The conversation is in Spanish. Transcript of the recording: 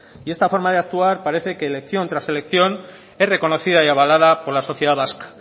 y esta forma de actuar parece que elección tras elección es reconocida y abalada por la sociedad vasca